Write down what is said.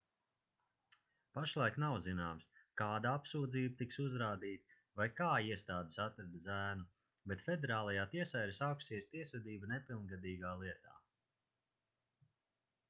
pašlaik nav zināms kāda apsūdzība tiks uzrādīta vai kā iestādes atrada zēnu bet federālajā tiesā ir sākusies tiesvedība nepilngadīgā lietā